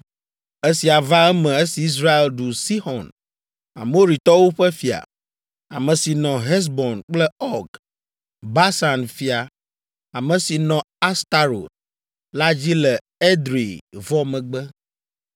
Esia va eme esi Israel ɖu Sixɔn, Amoritɔwo ƒe fia, ame si nɔ Hesbon kple Ɔg, Basan fia, ame si nɔ Astarot la dzi le Edrei vɔ megbe.